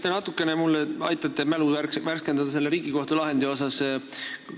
Kas te natukene mul aitate mälu värskendada selle Riigikohtu lahendi koha pealt?